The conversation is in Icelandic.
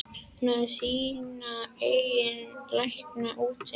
Hún hefði sína eigin lækna úti.